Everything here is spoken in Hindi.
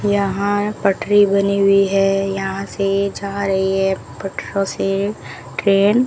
यहां पटरी बनी हुई है यहां से जा रही है पटरों से ट्रेन ।